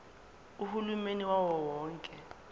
uhulumeni wawo wonke